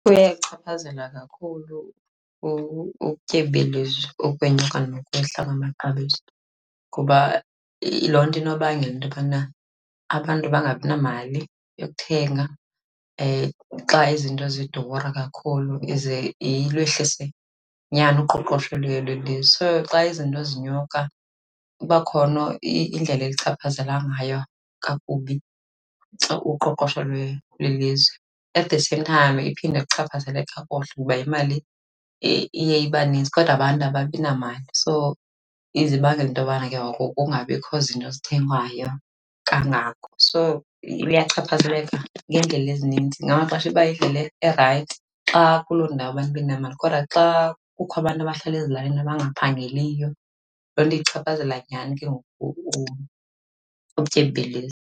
Kuyayichaphazela kakhulu ubutyebi belizwe ukwenyuka nokwehla kwamaxabiso. Ngoba loo nto inobangela into yobana abantu bangabi namali yokuthenga xa izinto zidura kakhulu, ize ilwehlise nyani uqoqosho lwelizwe. So xa izinto zinyuka kuba khona indlela elichaphazela ngayo kakubi uqoqosho lwelizwe. At the same time iphinde iluchaphazele kakuhle, ngoba imali iye ibanintsi. Kodwa abantu ababi namali, so ize ibangele into yobana ke ngoku kungabikho zinto zithengwayo kangako. So, luyachaphazeleka ngeendlela ezininzi. Ngamaxesha iba yindlela erayithi xa kuloo ndawo abantu benemali kodwa xa kukho abantu abahlala ezilalini abangaphangeliyo, loo nto ichaphazela nyani ke ngoku ubutyebi belizwe.